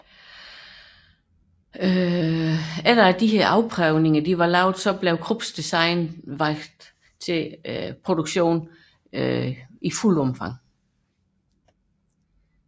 På baggrund af disse afprøvninger blev Krupps design udvalgt til produktion i fuldt omfang